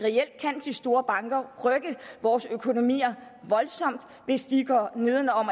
store banker rykke vores økonomier voldsomt hvis de går nedenom